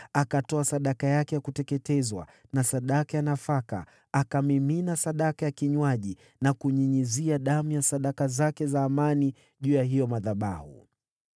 Akatoa sadaka yake ya kuteketezwa na sadaka ya nafaka, akamimina sadaka ya kinywaji na kunyunyizia damu ya sadaka zake za amani juu ya hayo madhabahu.